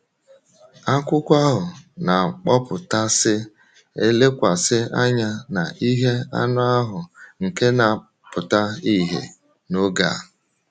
Akwụkwọ ahụ na-akpọpụtasị elekwasị anya na ihe anụ ahụ nke na-apụta ìhè n’oge a.